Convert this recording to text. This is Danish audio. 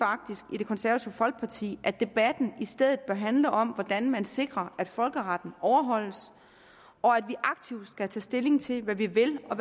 i det konservative folkeparti at debatten i stedet bør handle om hvordan man sikrer at folkeretten overholdes og at vi aktivt skal tage stilling til hvad vi vil og